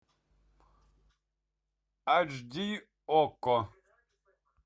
аш ди окко